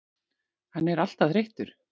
Hann er alltaf þreyttur.